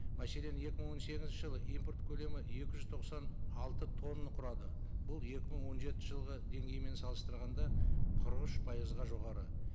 мәселен екі мың он сегізінші жылы импорт көлемі екі жүз тоқсан алты тонна құрады бұл екі мың он жетінші жылғы деңгеймен салыстырғанда қырық үш пайызға жоғары